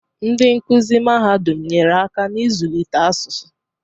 Ndị nkuzi mahadum nyere aka n'ịzụlite asụsụ